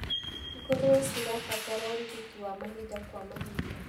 Ngũrũwe cirabatara ũrigiti wa mahinda kwa mahinda.